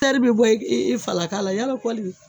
tɛri bi bɔ i falaka la yalɔ kɔli